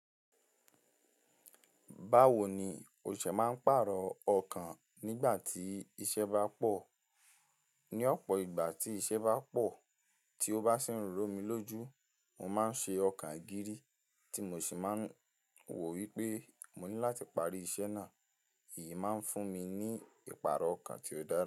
Báwo ni o ṣe máa ń pàrọ̀ ọkàn nígbà tí iṣẹ́ bá pọ̀? Ní ọ̀pọ̀ ìgbà tí iṣẹ́ bá pọ̀ tí ó bá sì ń rún mí lójú, mo máa ń ṣe ọkàn ìgìrì tí mo sì máa ń wò wípé mo ní láti parí iṣẹ́ náà. Èyí máa ń fún mi ní ìpààrọ̀ ọkàn tí ó dára.